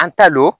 An ta don